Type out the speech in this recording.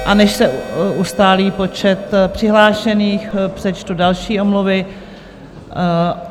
A než se ustálí počet přihlášených, přečtu další omluvy.